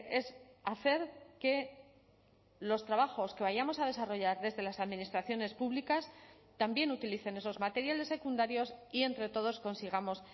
es hacer que los trabajos que vayamos a desarrollar desde las administraciones públicas también utilicen esos materiales secundarios y entre todos consigamos